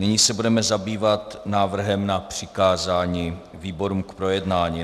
Nyní se budeme zabývat návrhem na přikázání výborům k projednání.